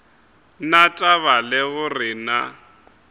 na taba le gore na